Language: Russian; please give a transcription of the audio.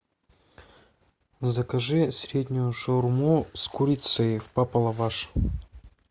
закажи среднюю шаурму с курицей в папа лаваш